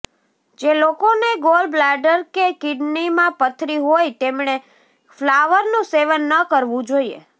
જે લોકોને gall bladder કે કિડનીમાં પથરી હોય તેમણે ફ્લાવરનું સેવન ન કરવું જોઈએ